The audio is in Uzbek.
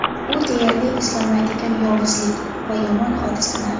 U deyarli eslolmaydigan yovuzlik va yomon hodisalar.